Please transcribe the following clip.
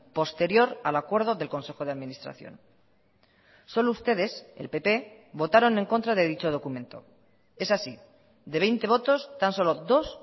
posterior al acuerdo del consejo de administración solo ustedes el pp votaron en contra de dicho documento es así de veinte votos tan solo dos